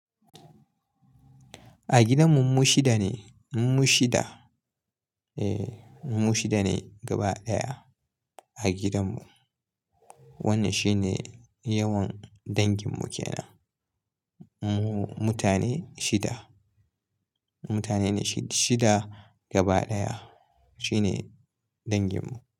A gidanmu mu shida ne, mu shida. Eh, mu shida ne gaba ɗaya a gidanmu. Wannan shine yawan danginmu kenan. Mu mutane shida. Mutane shida gaba ɗaya shine danginmu.